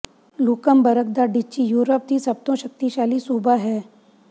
ਲੁਕਮਬਰਗ ਦਾ duchy Europe ਦੀ ਸਭ ਤੋਂ ਸ਼ਕਤੀਸ਼ਾਲੀ ਸੂਬਾ ਹੈ